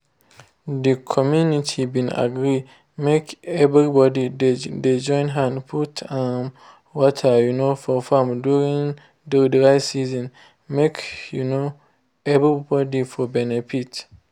the community been agree make everybody de join hand put um water um for farm during dry season make um everybody for benefit.